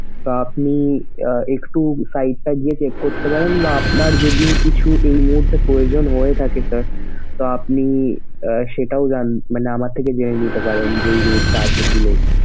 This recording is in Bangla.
তো আপনি আহ একটু site টায় গিয়ে check করতে পারেন বা আপনার যদি কিছু এই মুহুর্তে প্রয়োজন হয়ে থাকে sir তো আপনি আহ সেটাও জান মানে আমার থেকে জেনে নিতে পারেন যে এই জিনিসটা আছে কি নেই।